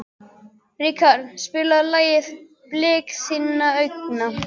Ríkharð, spilaðu lagið „Blik þinna augna“.